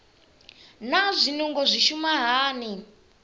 naa zwinungo zwi shuma hani